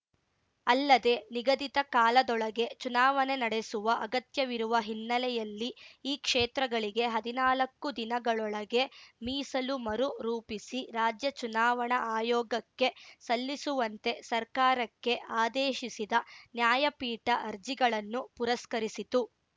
ಅಲ್ಲದೆ ನಿಗದಿತ ಕಾಲದೊಳಗೆ ಚುನಾವಣೆ ನಡೆಸುವ ಅಗತ್ಯವಿರುವ ಹಿನ್ನೆಲೆಯಲ್ಲಿ ಈ ಕ್ಷೇತ್ರಗಳಿಗೆ ಹದಿನಾಲಕ್ಕು ದಿನಗಳೊಳಗೆ ಮೀಸಲು ಮರು ರೂಪಿಸಿ ರಾಜ್ಯ ಚುನಾವಣಾ ಆಯೋಗಕ್ಕೆ ಸಲ್ಲಿಸುವಂತೆ ಸರ್ಕಾರಕ್ಕೆ ಆದೇಶಿಸಿದ ನ್ಯಾಯಪೀಠ ಅರ್ಜಿಗಳನ್ನು ಪುರಸ್ಕರಿಸಿತು